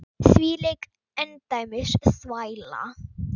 Þvílík endemis þvæla.